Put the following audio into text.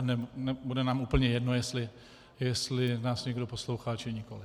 A bude nám úplně jedno, jestli nás někdo poslouchá, či nikoliv.